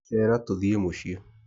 Cera tũthie Mũcĩĩ.